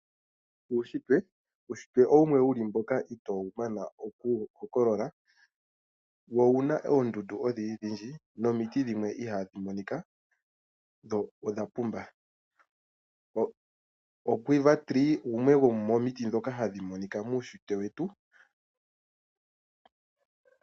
Uushitwe, uushitwe owumwe wu li mboka itoo wu mana oku wu hokolola, wo owu na oondundu odhindji dhindji, nomiti dhimwe ihaa dhi monika, dho odha pumba. O quiver tree, gumwe gwo momiti ndhoka hadhi monika muushitwe wetu.